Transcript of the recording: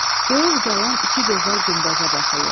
Göyə ucalan iki gözəl günbəzə baxırlar.